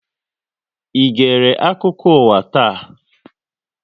Ị gère akụkọ ụwa taa?